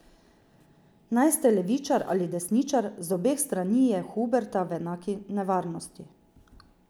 Naj ste levičar ali desničar, z obeh strani je Huberta v enaki nevarnosti.